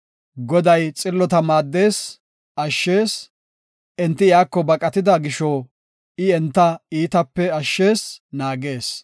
Goday xillota maaddees; ashshees; enti iyako baqatida gisho, I enta iitatape ashshees; naagees.